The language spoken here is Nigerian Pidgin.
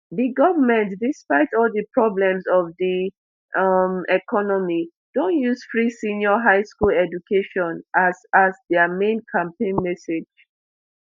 di goment despite all di problems of di um economy don use free senior high school education as as dia main campaign message